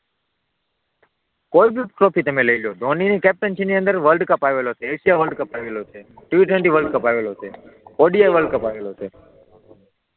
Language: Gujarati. કોઈ ભી ટ્રોફી તમે લઈ લો ધોની કેપ્ટનશિપ ની અંદર વર્લ્ડ કપ આવેલો છે, એશિયા વર્લ્ડ કપ આવેલો છે, ટી ટવેન્ટી વર્લ્ડ કપ આવેલો છે, ઓડી વર્લ્ડ કપ આવેલો છે.